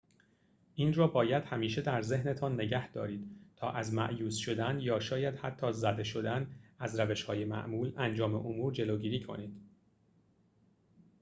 این را باید همیشه در ذهنتان نگه دارید تا از مأیوس شدن یا شاید حتی زده شدن از روش‌های معمول انجام امور جلوگیری کنید